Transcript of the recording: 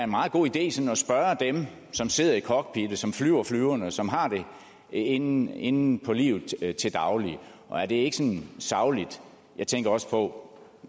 meget god idé sådan at spørge dem som sidder i cockpittet som flyver flyverne og som har det inde inde på livet til daglig og er det ikke sådan sagligt jeg tænker også på